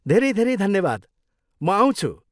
धेरै धेरै धन्यवाद, म आउँछु!